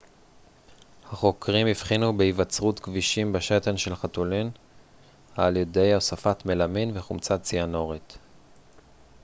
החוקרים הבחינו בהיווצרות גבישים בשתן של חתולים על ידי הוספת מלמין וחומצה ציאנורית